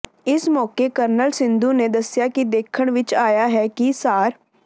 ਇਸ ਮੌਕੇ ਕਰਨਲ ਸਿੱਧੂ ਨੇ ਦਸਿਆ ਕਿ ਦੇਖਣ ਵਿਚ ਆਇਆ ਹੈ ਕਿ ਸਾਰ